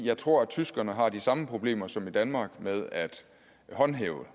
jeg tror at tyskerne har de samme problemer som i danmark med at håndhæve